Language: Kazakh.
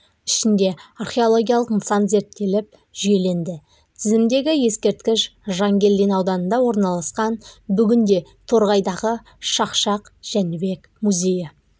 ішінде археологиялық нысан зерттеліп жүйеленді тізімдегі ескерткіш жангелдин ауданында орналасқан бүгінде торғайдағы шақшақ жәнібек музейі